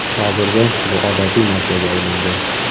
Hozirda bu odatiy narsaga aylangan.